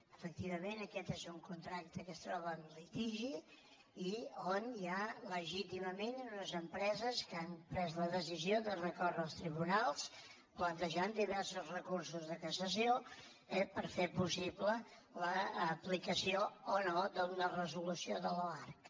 efectivament aquest és un contracte que es troba en litigi i on hi ha legítimament unes empreses que han pres la decisió de recórrer als tribunals plantejant diversos recursos de cassació eh per fer possible l’aplicació o no d’una resolució de l’oarcc